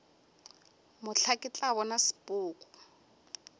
mohla ke tla bona sepoko